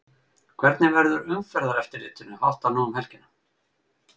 Hvernig verður umferðareftirlitinu háttað nú um helgina?